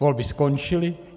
Volby skončily.